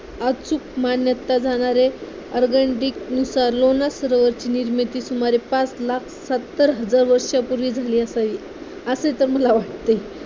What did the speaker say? अचूक मान्यता जाणणारे नुसार लोणार सरोवराची निर्मिती सुमारे पाच लाख सत्तर हजार वर्षांपूर्वी झाली असावी असे तर मला वाटते